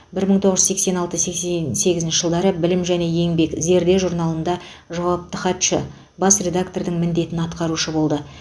бір мың тоғыз жүз сексен алты сексен сегізінші жылдары білім және еңбек зерде журналында жауапты хатшы бас редактордың міндетін атқарушы болды